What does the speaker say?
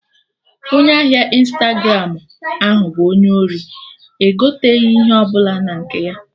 Onye ahịa Ịnstagramụ ahụ bụ onye ori, egoten'ihe ọbụla na nke ya!